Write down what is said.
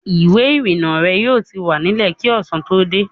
Ìwé-ìrìnnà rẹ yóò ti wà nílẹ̀ kí ọ̀sán tó dé.